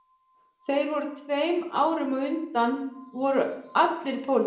Þeir sem voru tveim árum á undan voru allir í pólitík